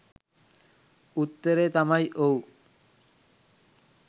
උත්තරය තමයි ඔව්